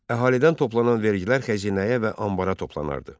Əhalidən toplanan vergilər xəzinəyə və ambara toplanardı.